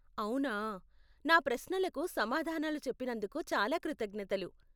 అవునా. నా ప్రశ్నలకు సమాధానాలు చెప్పినందుకు చాలా కృతజ్ఞతలు.